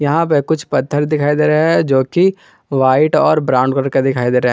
यहां पे कुछ पत्थर दिखाई दे रहा है जोकि व्हाइट और ब्राउन कलर का दिखाई दे रहा--